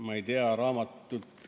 Ma ei tea, raamatut.